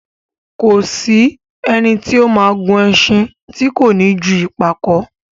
Kò sí ẹni tí ó ma gùn ẹṣin tí kò ní ju ìpàkó